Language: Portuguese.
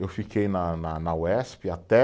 Eu fiquei na na, na Uesp até